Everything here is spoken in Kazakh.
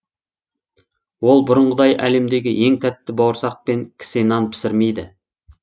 ол бұрынғыдай әлемдегі ең тәтті бауырсақ пен кісе нан пісірмейді